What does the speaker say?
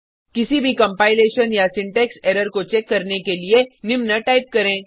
किसी भी कंपाइलेशन या सिंटेक्स एरर को चेक करने के लिए निम्न टाइप करें